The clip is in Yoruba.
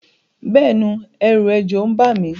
Béèni èrù ejò n ba mi